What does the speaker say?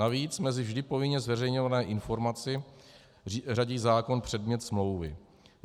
Navíc mezi vždy povinně zveřejňovanou informaci řadí zákon předmět smlouvy.